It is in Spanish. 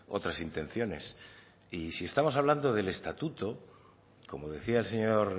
otras intenciones y si estamos hablando del estatuto como decía el señor